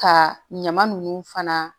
Ka ɲama nunnu fana